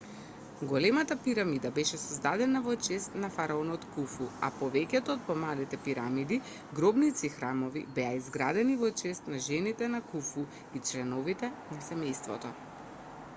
големата пирамида беше создадена во чест на фараонот куфу а повеќето од помалите пирамиди гробници и храмови беа изградени во чест на жените на куфу и членовите на семејството